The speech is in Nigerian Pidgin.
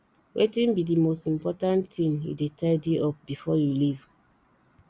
wetin be di most important thing you dey tidy up before you leave